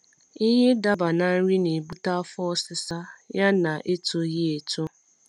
ịhe idaba na nri na ebute afọ ọsisa ya na etoghi eto